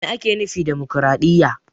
Me ake nufi da dimokraɗiya?